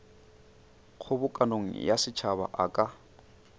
kgobokano ya setšhaba a ka